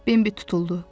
Bimbi tutuldu.